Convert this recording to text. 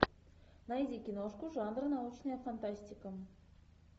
найди киношку жанра научная фантастика